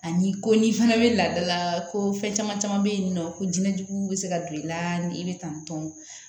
Ani ko n'i fana bɛ ladala ko fɛn caman caman bɛ yen nɔ ko diɲɛ jugu bɛ se ka don i la ni i bɛ tantɔ